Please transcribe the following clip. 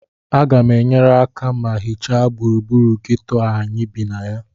Aga m enyere aka ma hichaa gburugburu geto a anyị bi na ya